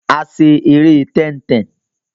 A ṣe eré tẹ́ń-tẹn.